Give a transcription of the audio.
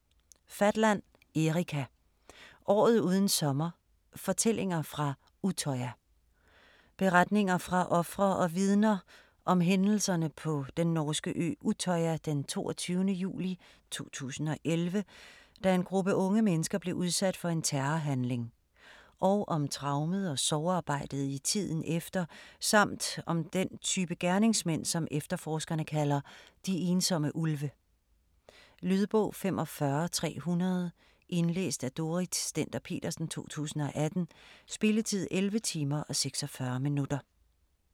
Fatland, Erika: Året uden sommer: fortællinger fra Utøya Beretninger fra ofre og vidner om hændelserne på den norske ø Utøya den 22. juli 2011, da en gruppe unge mennesker blev udsat for en terrorhandling, og om traumet og sorgarbejdet i tiden efter, samt om den type gerningsmænd som efterforskerne kalder "de ensomme ulve". Lydbog 45300 Indlæst af Dorrit Stender-Petersen, 2018. Spilletid: 11 timer, 46 minutter.